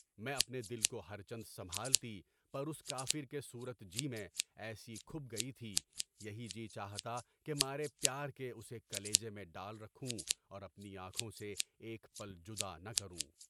میں اپنے دل کو ہر چند سنبھالتی پر اس کافر کی صورت جی میں ایسی کھپ گئی تھی، یہی جی چاہتا کہ مارے پیار کے اسے کلیجے میں ڈال رکھوں اور اپنی آنکھوں سے ایک پل جدا نہ کروں۔